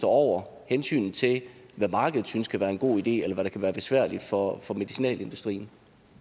over hensynet til hvad markedet synes kan være en god idé og der kan være besværligt for for medicinalindustrien